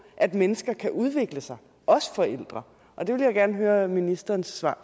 at mennesker kan udvikle sig også forældre det vil jeg gerne høre ministerens svar